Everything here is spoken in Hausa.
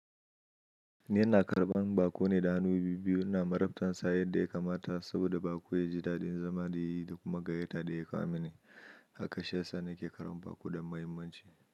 Ni yana karɓan baƙo ne da hannu biyu biyu na marabtansa yadda ya kamata saboda baƙo ya ji daɗin zama da yi da kuma gayyata da ya kamani. Haka sha sa ni ke karɓan baƙo da muhimmanci.